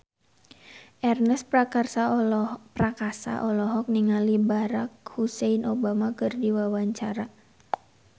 Ernest Prakasa olohok ningali Barack Hussein Obama keur diwawancara